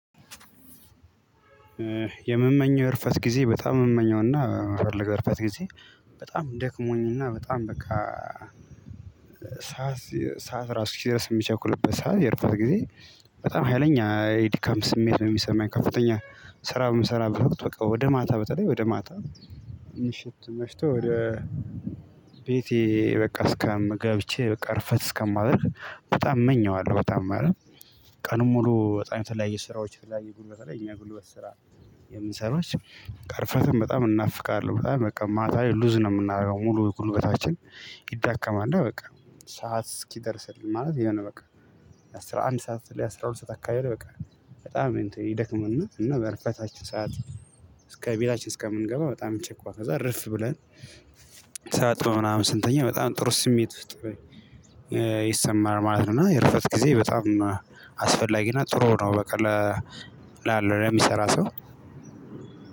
የምመኘው የእርፈት ጊዜ በጣም ነው የምመኘውና ለእርፈት ጊዜ በጣም ደክሞኝና በጣም በቃ ሰዓት ሰዓት ራሱ እስኪ ደርስ የሚቸኩልበት ሰዓት የእረፍት ጊዜ። በጣም ሀይለኛ የድካም ስሜት ነው የሚሰማኝ ከፍተኛ ስራ በምሰራ ወቅት ወደ ማታ በተለይ ወደ ማታ ምሽት መሽቶ ወደ ቤቴ በቃ እስከም ገብቼ በቃ እርፈት እስከማደርግ በጣም እመኘዋለሁ በጣም ማለት። ቀኑን ሙሉ በጣም የተለያዩ ስራዎች የተለያየ ጉልበት ላይ እኛ ጉልበት ስራ የምንሰራው። ቀእርፈትም በጣም እናፍቃለሁ በጣም በቃ ማታ ሉዝ ነው የምናደርገው ሙሉ ጉልበታችን ይዳከማል በቃ። ሰዓት እስኪደርስልን ማለት የሆነ በቃ የአሥራ አንድ ሰዓት ላይ አስራ ሁለት ሰዓት አካባቢ በቃ በጣም ይደክምና እና በእርፍታችን ሰዓት። እስከ ቤታችን እስከምንገባ በጣም ጭቆ ከዛ እርፍ ብለን ታጥበን ምናምን ስንተኛ በጣም ጥሩ ስሜት ውስጥ ይሰማል ማለት ነው። እና የእርፈት ጊዜ በጣም አስፈላጊ እና ጥሩ ነው በቃ ለ ላለው ለሚሰራ ሰው።